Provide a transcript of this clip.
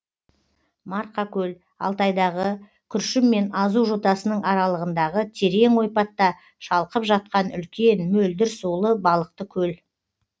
марқакөл алтайдағы күршім мен азу жотасының аралығындағы терең ойпатта шалқып жатқан үлкен мөлдір сулы балықты көл